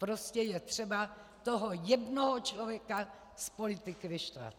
Prostě je třeba toho jednoho člověka z politiky vyštvat!